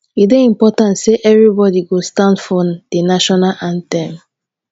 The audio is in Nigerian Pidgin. e dey important say everybody go stand for the national anthem